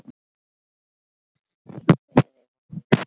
Ég kveð þig vinur minn.